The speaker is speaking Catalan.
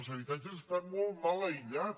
els habitatges estan molt mal aïllats